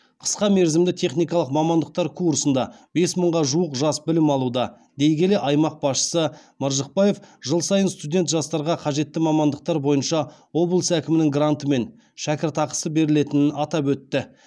қысқа мерзімді техникалық мамандықтар курсында бес мыңға жуық жас білім алуда дей келе аймақ басшысы маржықпаев жыл сайын студент жастарға қажетті мамандықтар бойынша облыс әкімінің гранты мен шәкіртақысы берілетінін атап өтті